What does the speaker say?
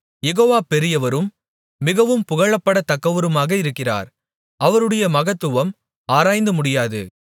யெகோவா பெரியவரும் மிகவும் புகழப்படத்தக்கவருமாக இருக்கிறார் அவருடைய மகத்துவம் ஆராய்ந்து முடியாது